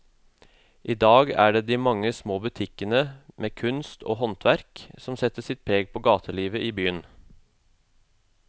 I dag er det de mange små butikkene med kunst og håndverk som setter sitt preg på gatelivet i byen.